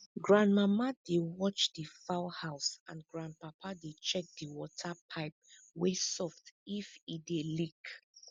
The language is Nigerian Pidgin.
grandmama dey watch di fowl house and grandpapa dey check di water pipe wey soft if e dey leak